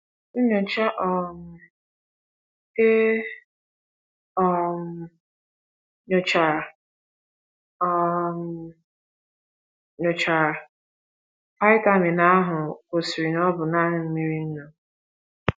Nnyocha um e um nyochara “ um nyochara “ vitamin ” ahụ gosiri na ọ bụ nanị mmiri nnu.